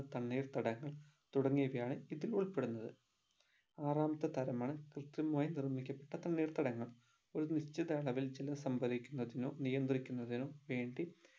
തണ്ണീർത്തടങ്ങൾ തുടങ്ങിയവയാണ് ഇതിൽ ഉൾപ്പെടുന്നത് ആറാമത്തെ തരം ആണ് കൃതിമമായി നിർമിക്കപ്പെട്ട തണ്ണീർത്തടങ്ങൾ ഒരു നിശ്ചിത അളവിൽ ജലം സംഭരിക്കുന്നതിനോ നിയന്ത്രിക്കുന്നതിനോ വേണ്ടി